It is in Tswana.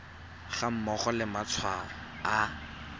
ga mmogo le matshwao a